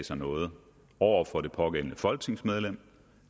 sig noget over for det pågældende folketingsmedlem